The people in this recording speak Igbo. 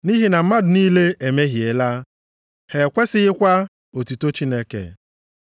Nʼihi na mmadụ niile emehiela ha ekwesikwaghị otuto Chineke.